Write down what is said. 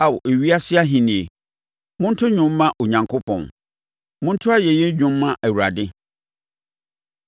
Ao ewiase ahennie, monto dwom mma Onyankopɔn, monto ayɛyi dwom mma Awurade,